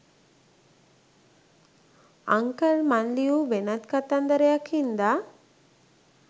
uncle මං ලියූ වෙනත් කතන්දරයක් හින්දා